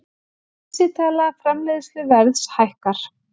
Vísitala framleiðsluverðs hækkar